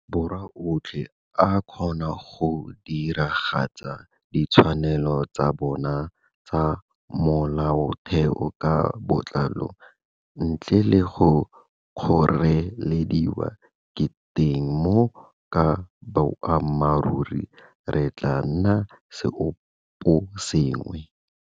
Borwa otlhe a kgona go diragatsa ditshwanelo tsa bona tsa molaotheo ka botlalo ntle le go kgorelediwa, ke teng moo ka boammaruri re tla nnag seoposengwe.